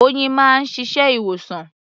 Oyin máa ń ṣiṣẹ́ ìwòsàn.